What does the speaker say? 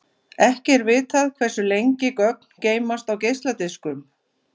Ekki er vitað hversu lengi gögn geymast á geisladiskum.